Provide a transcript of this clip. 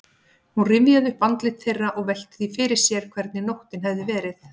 Hún rifjaði upp andlit þeirra og velti því fyrir sér hvernig nóttin hefði verið.